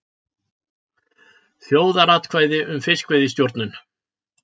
Þjóðaratkvæði um fiskveiðistjórnun